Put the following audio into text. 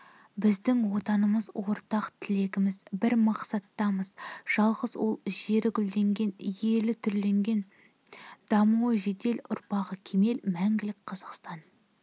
біздің отанымыз ортақ тілегіміз бір мақсатымыз-жалғыз ол-жері гүлденген елі түрленген дамуы жедел ұрпағы кемел мәңгілік қазақстан